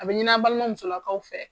A bɛ ɲini an balima musolakaw fɛ